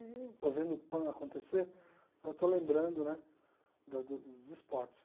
Estou vendo o pano acontecer, eu estou lembrando né da do dos esportes.